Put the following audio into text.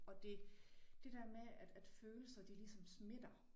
Og det det dér med at følelser de ligesom smitter